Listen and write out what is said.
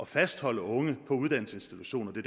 fastholde unge på uddannelsesinstitutioner det